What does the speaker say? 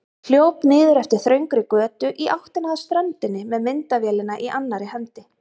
Hljóp niður eftir þröngri götu í áttina að ströndinni með myndavélina í annarri hendinni.